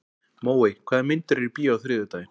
Móey, hvaða myndir eru í bíó á þriðjudaginn?